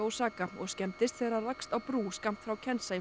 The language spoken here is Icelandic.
Osaka og skemmdist þegar það rakst á brú skammt frá